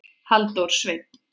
Halldór Sveinn.